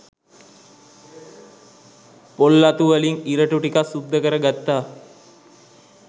පොල් අතු වලින් ඉරටු ටිකක් සුද්ද කරගත්ත